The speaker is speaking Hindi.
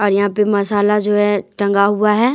और यहां पे मसाला जो है टंगा हुआ है।